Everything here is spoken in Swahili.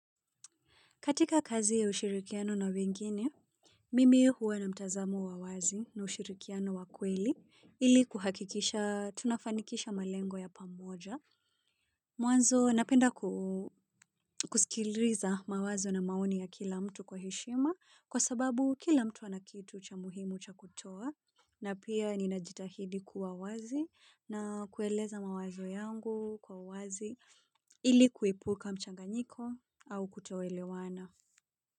Katika kazi ya ushirikiano na wengine, mimi huwa na mtazamo wa wazi na ushirikiano wakweli ili kuhakikisha tunafanikisha malengo ya pamoja. Mwanzo napenda kuskiliza mawazo na maoni ya kila mtu kwa heshima kwa sababu kila mtu anakitu cha muhimu cha kutoa na pia ninajitahidi kuwa wazi na kueleza mawazo yangu kwa uwazi ili kuepuka mchanganyiko au kutoelewana.